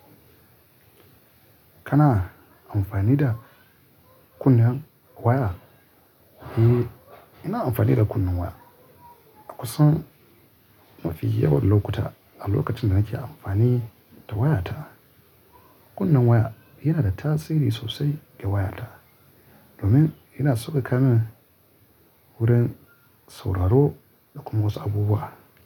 Kana amfani da kunnen waya? Eh, ina amfani da kunnen waya. A kusan mafi yawan lokuta, a lokacin da nake amfani da wayata, kunnen waya yana da tasiri sosai ga wayata domin yana sauka kamin wurin sauraro da kuma wasu abubuwa.